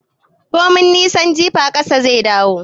Komin nisan jifa ƙasa zai dawo